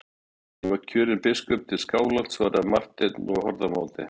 Ég var kjörinn biskup til Skálholts, svaraði Marteinn og horfði á móti.